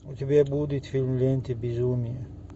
у тебя будет фильм лента безумия